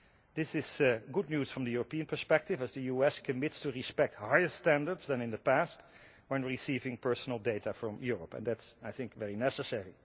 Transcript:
This is good news from the European perspective, as the US commits to respecting higher standards than in the past when receiving personal data from Europe, and I think that is very necessary.